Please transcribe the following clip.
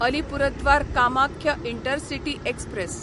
Alipurduar Kamakhya intercity express